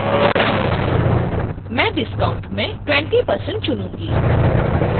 मैं discount मैं 20% चुनूंगी